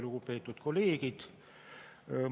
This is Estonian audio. Lugupeetud kolleegid!